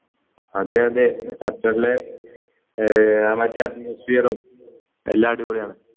അതെ അതെ ഖത്തറിലെ എല്ലാം അടിപൊളിയാണ്